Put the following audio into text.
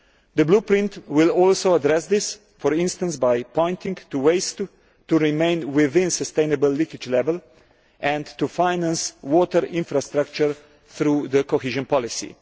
The Blueprint will also address this, for instance by highlighting ways to remain within sustainable leakage level, and to finance water infrastructure through the cohesion policy.